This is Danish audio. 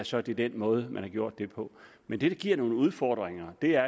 så er det den måde man har gjort det på men det der giver nogle udfordringer er